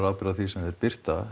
ábyrgð á því sem þeir birta